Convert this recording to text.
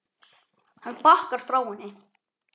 Hann bakkar frá henni.